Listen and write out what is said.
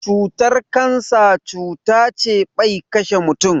Cutar kansa cuta ce ɓai ƙashe mutum.